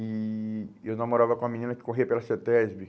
E e eu namorava com uma menina que corria pela CETESB.